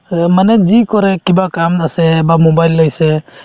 মানে যি কৰে কিবা কাম আছে বা mobile লৈছে